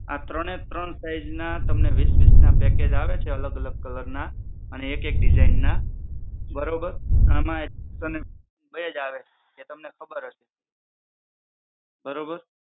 આ ત્રણેય ત્રણ size ના તમને વીસ ના package આવે છે અલગ અલગ colour ના અને એક એક design ના બરોબર આમાં તમે બે જ આવે એ તમને ખબર હશે બરોબર.